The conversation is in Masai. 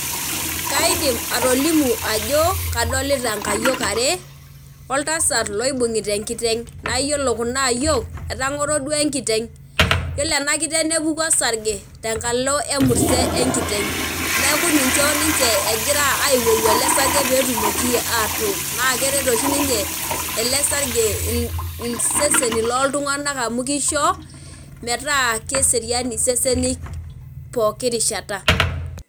Kaidimatolimu ajo kadolita nkayiok are oltasat loibungita enkiteng naa yiolo kuna ayiok etangoro duo enkiteng. Yiolo ena kiteng nepuku osarge tenkalo emurt enkiteng niaku ninche ninche egira aiwoku ele sarge petumoki atook naaa keret oshi ninye ele sarge iseseni loltunganak amu kisho metaa keserian isesen pooki rishata.